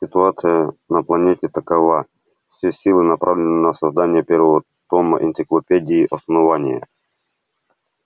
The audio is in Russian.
ситуация на планете такова все силы направлены на создание первого тома энциклопедии основания